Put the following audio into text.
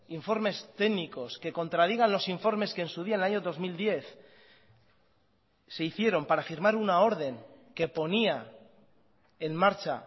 informes técnicos que contradigan los informes que en su día el año dos mil diez se hicieron para firmar una orden que ponía en marcha